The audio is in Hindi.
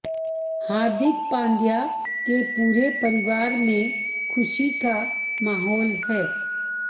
हार्दिक पांड्या के पूरे परिवार में खुशी का माहौल है